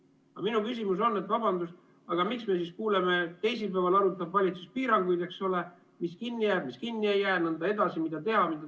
Aga minu küsimus on, et vabandust, miks me siis kuuleme, et teisipäeval arutab valitsus piiranguid, eks ole, mis kinni jääb, mis kinni ei jää, mida teha jne.